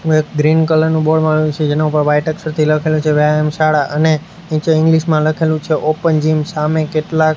એક green colour નું board મારેલુ છે જેના ઉપર વાઈટ અક્ષરથી લખેલું છે વ્યાયામ શાળા અને નીચે ઇંગ્લિશ માં લખેલું છે ઓપન જીમ સામે કેટલાક --